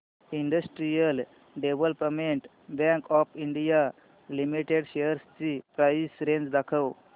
industrial development bank of India limited shares ची price range दाखव